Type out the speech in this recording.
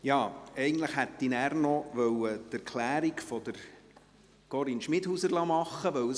Ja, eigentlich hätte ich nachher noch die Erklärung von Corinne Schmidhauser halten lassen wollen.